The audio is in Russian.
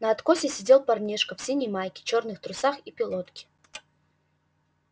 на откосе сидел парнишка в синей майке чёрных трусах и пилотке